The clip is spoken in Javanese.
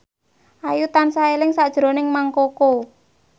Ayu tansah eling sakjroning Mang Koko